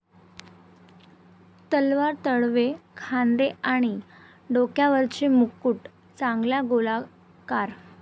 तलवार, तळवे, खांदे, आणि डोक्यावरचे मुकुट चांगल्या गोलाकार